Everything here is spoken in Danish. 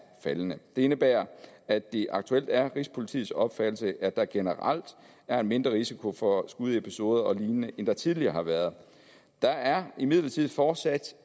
faldende det indebærer at det aktuelt er rigspolitiets opfattelse at der generelt er en mindre risiko for skudepisoder og lignende end der tidligere har været der er imidlertid fortsat